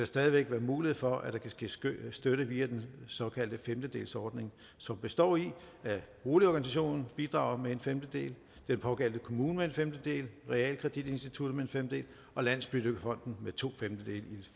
stadig væk være mulighed for at der kan ske støtte støtte via den såkaldte femtedelsordning som består i at boligorganisationen bidrager med en femtedel den pågældende kommune med en femtedel realkreditinstituttet med en femtedel og landsbyggefonden med tofemtedele i